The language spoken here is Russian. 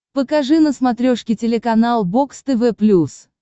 покажи на смотрешке телеканал бокс тв плюс